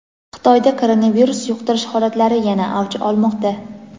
Xitoyda koronavirus yuqtirish holatlari yana avj olmoqda.